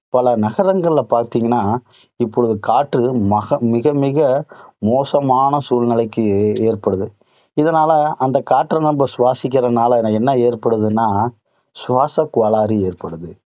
பல நகரங்களில பாத்தீங்கன்னா, இப்போது காற்று மிக மிக, மோசமான சூழ்நிலைக்கு ஏற்படுது. இதனால, அந்த காற்று நம்ம சுவாசிக்கிறதுனால என்ன ஏற்படுதுன்னா சுவாச கோளாறு ஏற்படுது.